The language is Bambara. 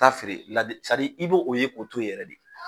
Taa feere ladi i b'o ye k'o too yɛrɛ de.